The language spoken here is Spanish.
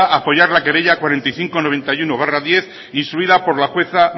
apoyar la querella cuatro mil quinientos noventa y uno barra diez instruida por la jueza